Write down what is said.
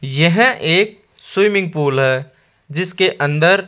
यह एक swimming pool है जिसके अंदर--